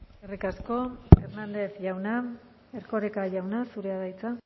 eskerrik asko hernández jauna erkoreka jauna zurea da hitza